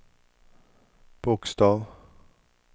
bokstav